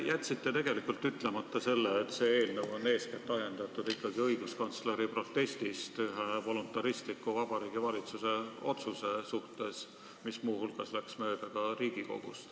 Te jätsite tegelikult ütlemata, et see eelnõu on eeskätt ajendatud õiguskantsleri protestist Vabariigi Valitsuse voluntaristliku otsuse vastu, mis muu hulgas läks mööda ka Riigikogust.